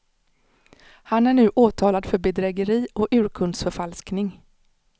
Han är nu åtalad för bedrägeri och urkundsförfalskning.